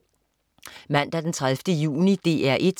Mandag den 30. juni - DR 1: